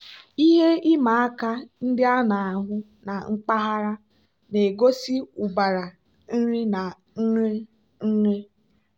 ihe ịma aka ndị a na-ahụ na mpaghara na-egosi ụbara nri na nri nri.